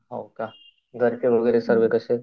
हो का? घर ची वगैरे सर्व कसे आहे?